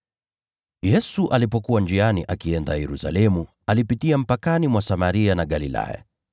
Yesu alipokuwa njiani akienda Yerusalemu, alipitia mpakani mwa Samaria na Galilaya.